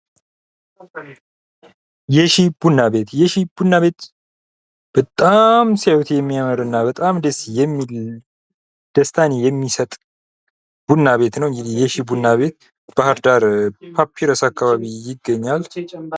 የሺ ቡና ቤት፡- የሺ ቡና ቤት በጣም ሲያዩት የሚያምርና በጣም ደስ የሚል፥ ደስታን የሚሰጥ ቡና ቤት ነው። እንግዲህ የሺ ቡና ቤት ባህር ዳር ፓፒረስ አካባቢ ይገኛል።